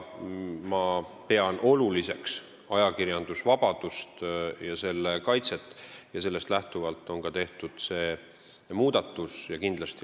Ma pean oluliseks ajakirjandusvabadust ja selle kaitset, sellest lähtuvalt on tehtud ka see muudatus.